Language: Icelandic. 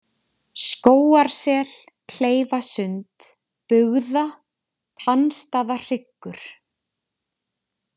Skógarsel, Kleifasund, Bugða, Tannstaðahryggur